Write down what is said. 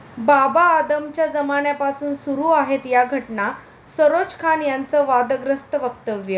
बाबा आदमच्या जमान्यापासून सुरू आहेत या 'घटना', सरोज खान यांचं वादग्रस्त वक्तव्य